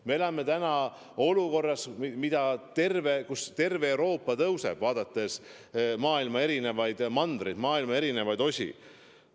Me oleme olukorras, kus vaadates erinevaid mandreid, maailma erinevaid osi, võib öelda, et terves Euroopas nakatumine kasvab.